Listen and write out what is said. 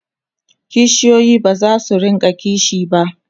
kishiyoyi bazasu rinka kishi ba